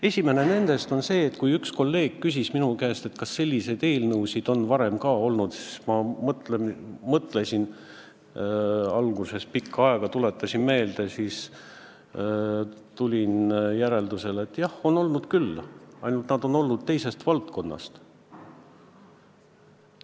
Esimene põhjus on see, et kui üks kolleeg küsis minu käest, kas selliseid eelnõusid on varem ka olnud, siis ma mõtlesin alguses pikka aega, tuletasin meelde ja siis tulin järeldusele, et jah, on olnud küll, ainult need on olnud teisest valdkonnast.